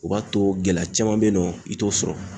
O b'a to gɛlɛya caman bɛ yen nɔ, i t'o sɔrɔ.